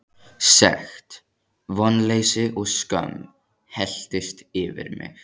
Sekt, vonleysi og skömm helltist yfir mig.